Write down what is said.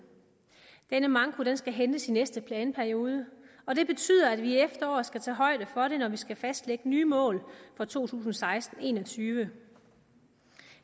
denne manko skal hentes i næste planperiode og det betyder at vi i efteråret skal tage højde for det når vi skal fastlægge nye mål for to tusind og seksten til en og tyve